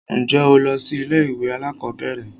Ǹjẹ́ o lọ sí ilé ìwé alákọ̀berẹ̀?